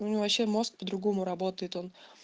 у него вообще мозг по другому работает он